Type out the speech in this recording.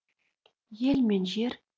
ел мен жер